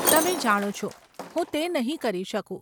તમે જાણો છો, હું તે નહીં કરી શકું.